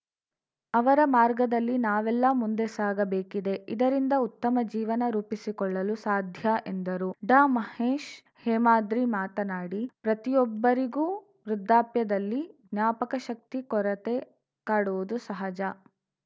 ಅವರ ಮಾರ್ಗದಲ್ಲಿ ನಾವೆಲ್ಲ ಮುಂದೆ ಸಾಗಬೇಕಿದೆ ಇದರಿಂದ ಉತ್ತಮ ಜೀವನ ರೂಪಿಸಿಕೊಳ್ಳಲು ಸಾಧ್ಯ ಎಂದರು ಡಾಮಹೇಶ್‌ ಹೇಮಾದ್ರಿ ಮಾತನಾಡಿ ಪ್ರತಿಯೊಬ್ಬರಿಗೂ ವೃದ್ಧಾಪ್ಯದಲ್ಲಿ ಜ್ಞಾಪಕಶಕ್ತಿ ಕೊರತೆ ಕಾಡುವುದು ಸಹಜ